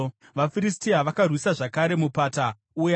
VaFiristia vakarwisa zvakare mupata uya.